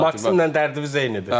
Maksimlə dərdiniz eynidir.